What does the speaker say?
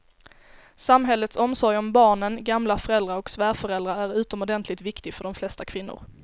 Samhällets omsorg om barnen, gamla föräldrar och svärföräldrar är utomordentligt viktig för de flesta kvinnor.